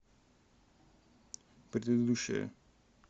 предыдущая